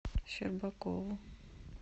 щербакову